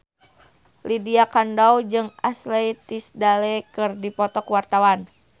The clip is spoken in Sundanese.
Lydia Kandou jeung Ashley Tisdale keur dipoto ku wartawan